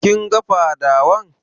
Kin ga fadawan?